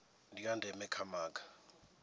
ndi a ndeme kha maga